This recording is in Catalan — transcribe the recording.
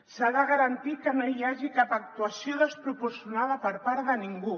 s’ha de garantir que no hi hagi cap actuació desproporcionada per part de ningú